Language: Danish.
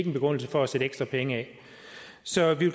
en begrundelse for at sætte ekstra penge af så vi